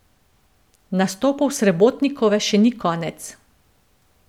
Nastopov Srebotnikove še ni konec.